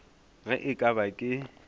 ge e ka ba ke